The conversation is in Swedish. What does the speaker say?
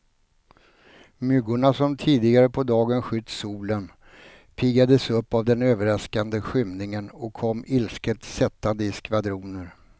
Myggorna som tidigare på dagen skytt solen, piggades upp av den överraskande skymningen och kom ilsket sättande i skvadroner.